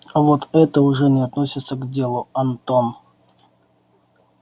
а вот это уже не относится к делу антон